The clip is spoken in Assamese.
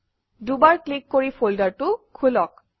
দুবাৰ ক্লিক কৰি ফল্ডাৰটো খোলক